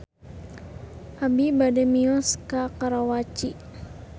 Abi bade mios ka Karawaci